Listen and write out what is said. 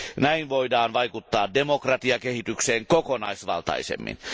Näin voidaan vaikuttaa demokratiakehitykseen kokonaisvaltaisemmin.